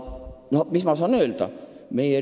Mis ma saan öelda?